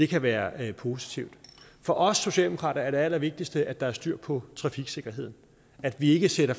kan være positivt for os socialdemokrater er det allervigtigste at der er styr på trafiksikkerheden at vi ikke sætter